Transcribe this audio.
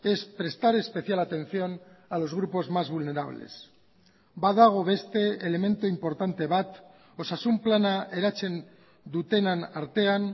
es prestar especial atención a los grupos más vulnerables badago beste elementu inportante bat osasun plana eratzen dutenen artean